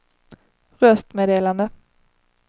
röstmeddelande